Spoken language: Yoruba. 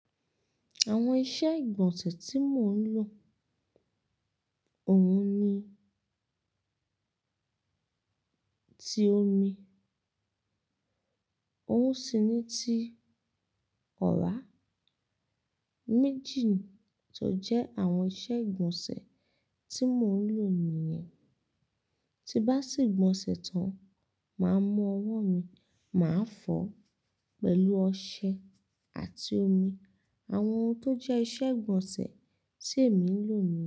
Àwọn iṣẹ́ ìgbọ̀nsẹ̀ tí mò ń lò, òun ni, ti omi, òun sì ni ti ọ̀rá. Méjì tó jẹ́ àwọn iṣẹ́ ìgbọ̀nsẹ̀ tí mò ń lò nìyẹn. Ti n bá se'gbọnsẹ̀ tán, màá mú ọwọ́ mi, màá fọ̀ ọ́ pẹ̀lú ọṣẹ àti omi. Àwọn ohun tó jẹ́ iṣẹ́ ìgbọ̀nsẹ̀ tí èmi ń lò nìyẹn.